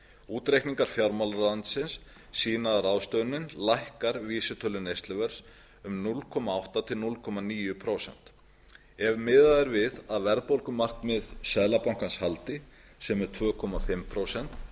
útreikningar fjármálaráðuneytisins sýna að ráðstöfunin lækkar vísitölu neysluverðs um núll komma átta prósent til núll komma níu prósent ef miðað er við að verðbólgumarkmið seðlabankans haldi sem er tvö og hálft prósent